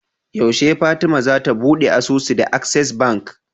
Yashe fatima zata buɗe asusu da access bank